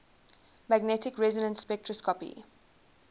magnetic resonance spectroscopy